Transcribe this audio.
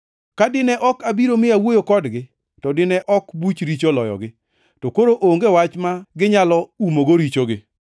Ka dine ok abiro mi awuoyo kodgi, to dine ok buch richo oloyogi. To koro, onge wach ma ginyalo umogo richogi.